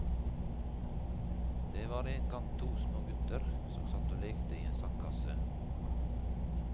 Det var en gang to små gutter som satt og lekte i en sandkasse.